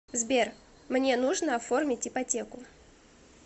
сбер мне нужно оформить ипотеку